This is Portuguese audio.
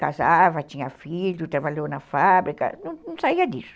Casava, tinha filho, trabalhou na fábrica, não saía disso.